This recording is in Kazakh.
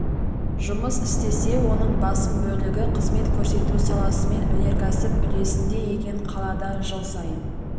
жұмыс істесе оның басым бөлігі қызмет көрсету саласы мен өнеркәсіп үлесінде екен қалада жыл сайын